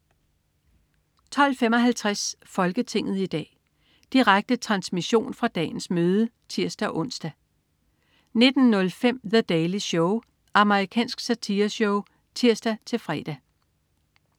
12.55 Folketinget i dag. Direkte transmission fra dagens møde (tirs-ons) 19.05 The Daily Show. Amerikansk satireshow (tirs-fre)